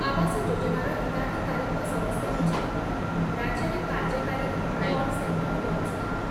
ଆବାସ ଯୋଜନାର ହିତାଧିକାରୀଙ୍କ ସମସ୍ୟା ବୁଝିବା ପାଇଁ ରାଜ୍ୟରେ କାର୍ଯ୍ୟକାରୀ ହେବ କଲ୍ ସେଣ୍ଟର ବ୍ୟବସ୍ଥା